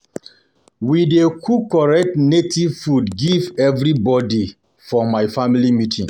We dey cook correct native food give everybodi everybodi for family meeting.